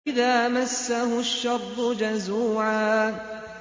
إِذَا مَسَّهُ الشَّرُّ جَزُوعًا